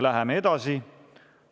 Läheme edasi.